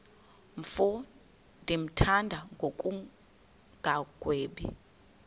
mfo ndimthanda ngokungagwebi